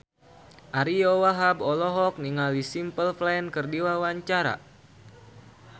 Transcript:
Ariyo Wahab olohok ningali Simple Plan keur diwawancara